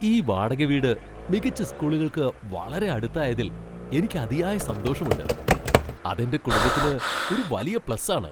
ഈ വാടക വീട് മികച്ച സ്കൂളുകൾക്ക് വളരെ അടുത്തായതിൽ എനിക്ക് അതിയായ സന്തോഷമുണ്ട്. അത് എന്റെ കുടുംബത്തിന് ഒരു വലിയ പ്ലസ് ആണ്.